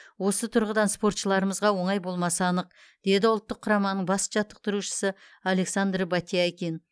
осы тұрғыдан спортшыларымызға оңай болмасы анық деді ұлттық құраманың бас жаттықтырушысы александр батяйкин